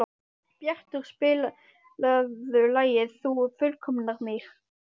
Bjartur, spilaðu lagið „Þú fullkomnar mig“.